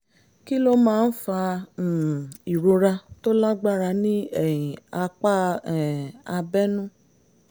kí ló máa ń fa um ìrora tó lágbára ní um apá um abẹ́nú?